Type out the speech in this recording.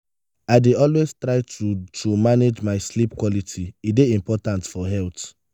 i dey always try to to manage my sleep quality; e dey important for health.